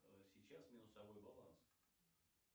сейчас минусовой баланс